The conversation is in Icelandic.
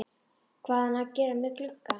Hvað hafði hann að gera með glugga?